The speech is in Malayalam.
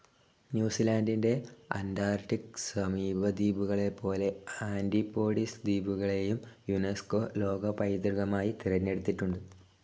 ന്യൂസിലാന്റിന്റെ അന്റാർക്ടിക്‌ സമീപദ്വീപുകളെപ്പോലെ ആന്റിപോഡിസ് ദ്വീപുകളേയും യുൻസ്കോ ലോകപൈതൃകമായി തിരഞ്ഞെടുത്തിട്ടുഃട്.